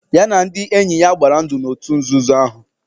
Ya na ndị enye ya gbara ndụ n'otu nzuzo ahụ.